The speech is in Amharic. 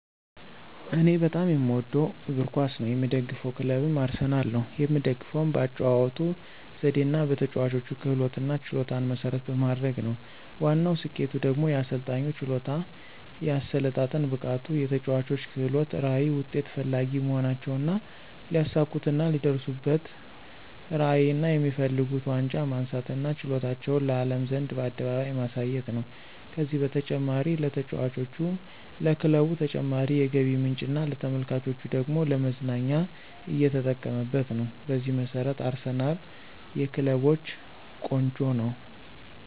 እኔ በጣም የምወደው እግር ኳስ ነው። የምደግፈው ክለብም አርሰናል ነው። የምደግፈውም በአጨዋወቱ ዘዴና በተጨዋቾች ክህሎትና ችሎታን መሰረት በማድረግ ነው። ዋናው ስኬቱ ደግሞ የአሰልጣኙ ችሎታ፣ የአሰለጣጠን ብቃቱ፣ የተጨዋቾች ክህሎት፣ ራዕይ፣ ውጤት ፈላጊ መሆናቸውና ሊያሳኩትና ሊደርሱበትራዕይና የሚፈልጉት ዋንጫ ማንሳትና ችሎታቸውን ለአለም ዘንድ በአደባባይ ማሳየት ነው። ከዚህም በተጨማሪ ለተጫዋቾች፣ ለክለቡ ተጨማሪ የገቢ ምንጭና ለተመልካቹ ደግሞ ለመዝናኛ እየተጠቀመበት ነው። በዚህ መሰረት አርሰናል የክለቦች ቆንጮ ነው